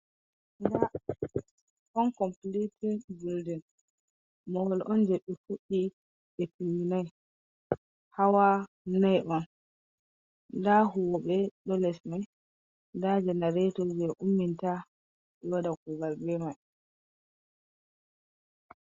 Nda on completet buildin, Madi on je be foɗɗi be timminai hawa nai on nda huwoɓe ɗo les mai nda janareto je umminta waɗa kugal be mai.